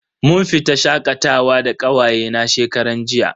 Mun fita shakatawa da kawaye na shekaran jiya.